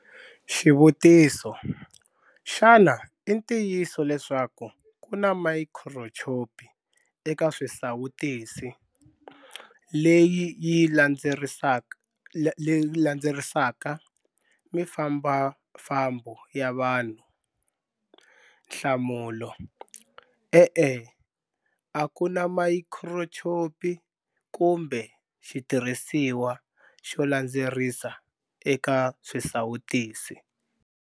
Xivutiso- Xana i ntiyiso leswaku ku na mayikhirochipi eka swisawutisi, leyi yi landzerisaka mifambafambo ya vanhu? Nhlamulo- E-e. A ku na mayikhirochipi kumbe xitirhisiwa xo landzerisa eka swisawutisi.